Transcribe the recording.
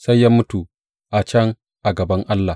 Sai ya mutu a can a gaban Allah.